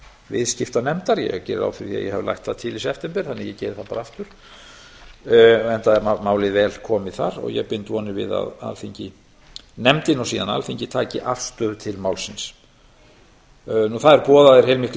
viðskiptanefndar ég geri ráð aðrir því að ég hafi lagt það í september þannig að ég geri það bara aftur enda er málið vel komið þar ég bind vonir við að nefndin og alþingi taki afstöðu til málsins það eru boðaðir heilmiklir